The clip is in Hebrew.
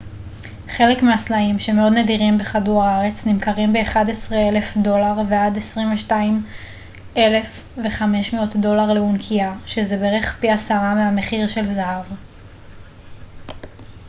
חלק מהסלעים שמאוד נדירים בכדור הארץ נמכרים ב-11,000 דולר ועד 22,500 דולר לאונקיה שזה בערך פי עשרה מהמחיר של זהב